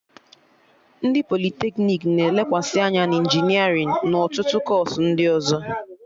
Ndị politeknik na-elekwasị anya na injinerịn na ọtụtụ kọọsụ ndị ọzọ